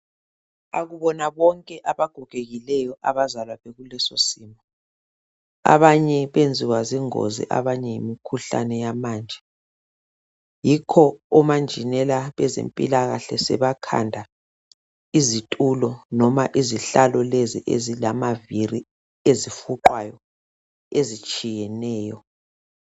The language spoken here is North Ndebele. Akubona bonke abagogekileyo abazalwa bekulesosimo. Abanye benziwa zingozi abanye yimikhuhlane yamanje, yikho omanjenela bezempilakahle sebakhanda izitulo loma izihlalo lezi ezilamaviri ezifuqwayo ezitshiyeneyo.